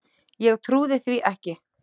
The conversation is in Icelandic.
Ég trúði því ekki.